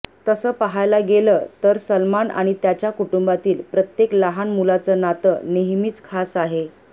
तसं पाहायला गेलं तर सलमान आणि त्याच्या कुटुंबातील प्रत्येक लहान मुलाचं नातं नेहमीच खास आहे